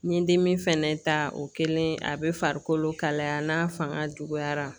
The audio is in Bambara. N ye dimi fɛnɛ ta o kɛlen a bɛ farikolo kalaya n'a fanga juguyara